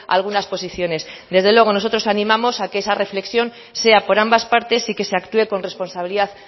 algunas posiciones desde luego nosotros animamos a que esa reflexión sea por ambas partes y que se actúe con responsabilidad